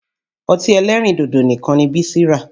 Ọtí ẹlẹ́rìndòdò nìkan ni Bísí rà